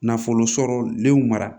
Nafolo sɔrɔ liw mara